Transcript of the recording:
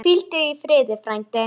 Hvíldu í friði, frændi.